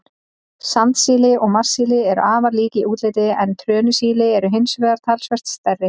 Sandsíli og marsíli eru afar lík í útliti, en trönusíli eru hins vegar talsvert stærri.